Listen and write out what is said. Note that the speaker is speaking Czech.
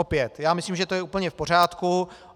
Opět, já myslím, že to je úplně v pořádku.